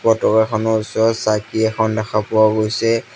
পতকা খনৰ ওচৰত চাকি এখন দেখা পোৱা গৈছে।